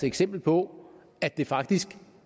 eksempler på at det faktisk